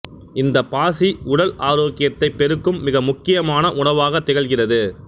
இந்த பாசி உடல் ஆரோக்கியத்தை பெருக்கும் மிக முக்கியமான உணவாகத் திகழ்கிறது